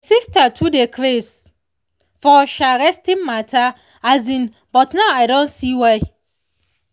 my sister too dey craze for um resting matter um but now i don see why.